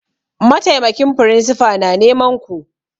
Mataimakin firinsifa na neman ku!